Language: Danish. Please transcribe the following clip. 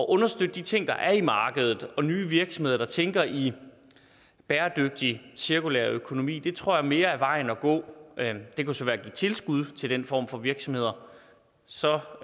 understøtte de ting der er i markedet og nye virksomheder der tænker i bæredygtig cirkulær økonomi tror jeg mere er vejen at gå det kunne så være at give tilskud til den form for virksomheder så